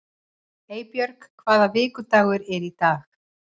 Eybjörg, hvaða vikudagur er í dag?